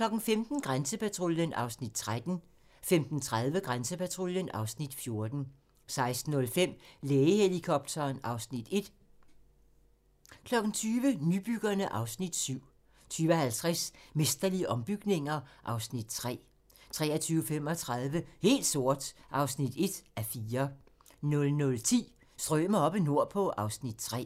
15:00: Grænsepatruljen (Afs. 13) 15:30: Grænsepatruljen (Afs. 14) 16:05: Lægehelikopteren (Afs. 1) 20:00: Nybyggerne (Afs. 7) 20:50: Mesterlige ombygninger (Afs. 3) 23:35: Helt sort (1:4) 00:10: Strømer oppe nordpå (Afs. 3)